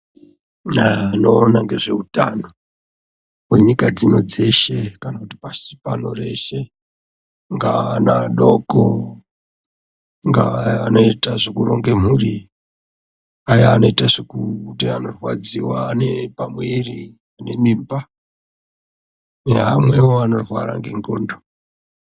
Anoona ngezveutano hwenyika dzino dzeshe kana kuti pashi pano reshe angaa ana adoko, ingaa anoita zvekuronge mhuri , aya anoita zvekuti anorwadziwa nepamwiri nemimba, neaya anorwara ngendxondo.